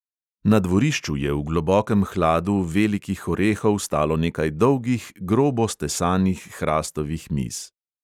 Na dvorišču je v globokem hladu velikih orehov stalo nekaj dolgih, grobo stesanih hrastovih miz.